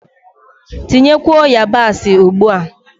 Tinyekwuo yabasị ugbua!